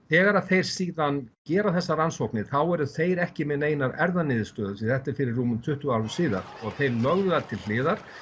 þegar að þeir síðan gera þessar rannsóknir þá eru þeir ekki með neinar erfðaniðurstöður því að þetta er fyrir rúmum tuttugu árum síðan þeir lögðu það til hliðar